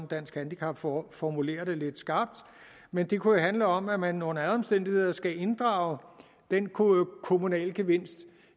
dansk handicap forbund formulerer det lidt skarpt men det kunne jo handle om at man under alle omstændigheder skal inddrage den kommunale gevinst